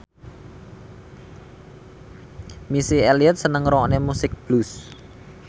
Missy Elliott seneng ngrungokne musik blues